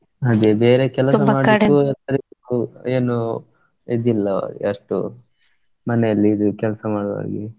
ಅದೇ ಬೇರೆ ಕೆಲಸ ಮಾಡ್ಲಿಕ್ಕೂ ಏನೂ ಇದಿಲ್ಲಾ ಅಷ್ಟು ಮನೆಯಲ್ಲಿದ್ದು ಕೆಲಸ ಮಾಡುವ ಹಾಗೆ.